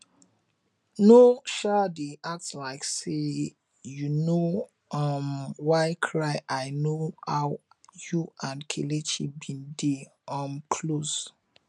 no um dey act like say you no um wan cry i no how you and kelechi bin dey um close